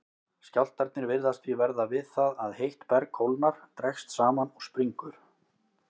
Skjálftarnir virðast því verða við það að heitt berg kólnar, dregst saman og springur.